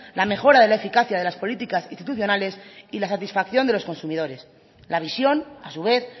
la mejora de la eficacia de las políticas institucionales y la satisfacción de los consumidores la visión a su vez